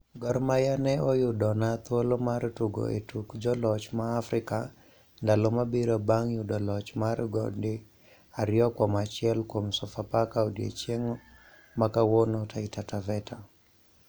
Gor Mahia ne oyudo na thuolo mar tugo e tuk joloch ma Afrika ndalo mabiro bang yudo loch mar gonde ariyo kuom achiel kuom Sofapaka odiochieng makawuono Taita Taveta